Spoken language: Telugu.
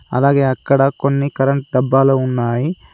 అలాగే అక్కడ కొన్ని కరెంట్ డబ్బాలు ఉన్నాయి.